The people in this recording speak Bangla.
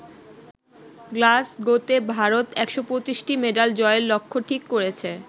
গ্লাসগোতে ভারত ১২৫টি মেডাল জয়ের লক্ষ্য ঠিক করেছে।